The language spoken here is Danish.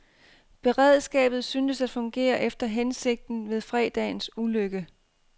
Beredskabet syntes at fungere efter hensigten ved fredagens ulykke.